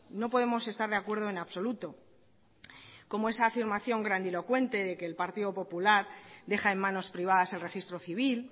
no podemos estar de acuerdo en absoluto como esa afirmación grandilocuente de que el partido popular deja en manos privadas el registro civil